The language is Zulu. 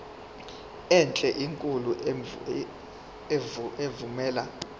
enhle enkulu evumela